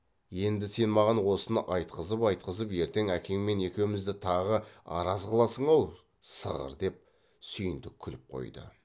енді сен маған осыны айтқызып айтқызып ертең әкеңмен екеумізді тағы араз қыласың ау сығыр деп сүйіндік күліп қойды